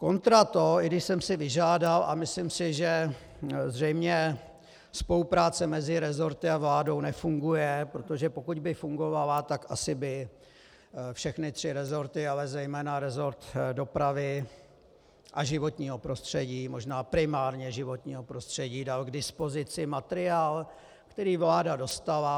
Kontra to, i když jsem si vyžádal, a myslím si, že zřejmě spolupráce mezi resorty a vládou nefunguje, protože pokud by fungovala, tak asi by všechny tři resorty, ale zejména resort dopravy a životního prostřední, možná primárně životního prostředí, dal k dispozici materiál, který vláda dostala.